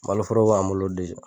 Maloforo b'an bolo